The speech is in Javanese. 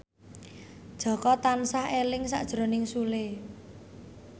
Jaka tansah eling sakjroning Sule